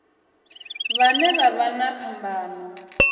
vhane vha vha na phambano